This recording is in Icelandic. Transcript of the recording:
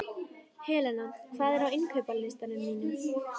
Helena, hvað er á innkaupalistanum mínum?